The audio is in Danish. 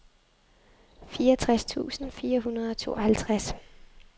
fireogtres tusind fire hundrede og treoghalvtreds